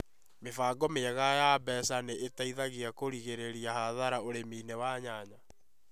mĩbango mĩega ya mbeca ni iteithagia kũgirĩrĩria hathara ũrimi-inĩ wa nyanya